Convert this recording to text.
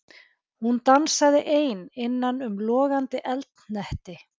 Hún dansaði ein innan um logandi eldhnetti.